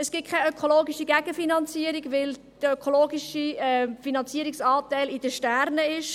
Es gibt keine ökologische Gegenfinanzierung, weil der ökologische Finanzierungsanteil in den Sternen steht.